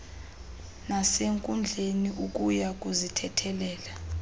nasenkundleni ukya kuzithethelela